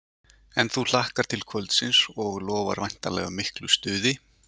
En þú hlakkar til kvöldsins og lofar væntanlega miklu stuði?